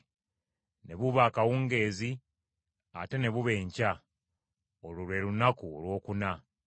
Ne buba akawungeezi, ate ne buba enkya. Olwo lwe lunaku olwokuna.